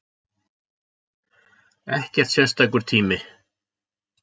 Ekkert sérstakur tími